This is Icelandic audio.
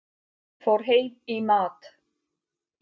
Fór heim í mat.